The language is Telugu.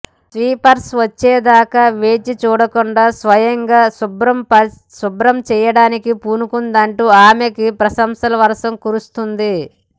స్వీపర్స్ వచ్చేదాకా వేచి చూడకుండా స్వయంగా శుభ్రం చేయడానికి పూనుకుందంటూ ఆమెకు ప్రశంసల వర్షం కురుస్తోంది